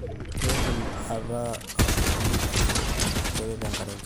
keidim ataa asioki oleng amu keret enkare enchan